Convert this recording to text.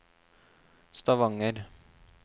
Stavanger